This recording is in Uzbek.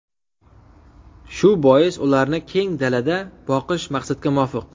Shu bois, ularni keng dalada boqish maqsadga muvofiq.